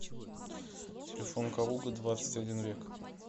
телефон калуга двадцать один век